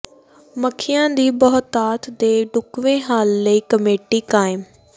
ਮੱਖੀਆਂ ਦੀ ਬਹੁਤਾਤ ਦੇ ਢੁਕਵੇਂ ਹੱਲ ਲਈ ਕਮੇਟੀ ਕਾਇਮ